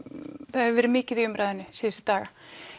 það hefur verið mikið í umræðunni síðustu daga